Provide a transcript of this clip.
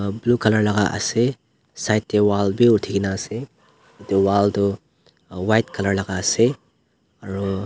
blue colour laka ase side tae wall bi uthinaase edu wall toh white colour laka ase.